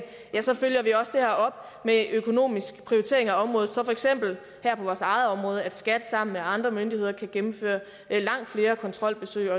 følger vi det også op med en økonomisk prioritering af området så skat sammen med andre myndigheder kan gennemføre langt flere kontrolbesøg